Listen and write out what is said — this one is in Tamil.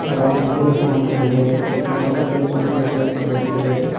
ஒரு ஆளு மொபைல வச்சு நோண்டிட்டிருக்காரு ஒரு ஆளு கையை வந்து டைல்ஸ்ல வச்சிருக்காரு.